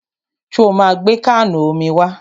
Ṣo ma gbé káànù omi wá?